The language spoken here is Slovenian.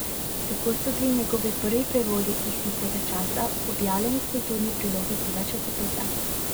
Tako so bili njegovi prvi prevodi iz tistega časa objavljeni v kulturni prilogi tega časopisa.